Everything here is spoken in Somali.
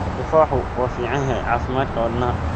Tufaaxu waa fiican yahay caafimaadka wadnaha.